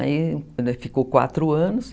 Aí ainda ficou quatro anos.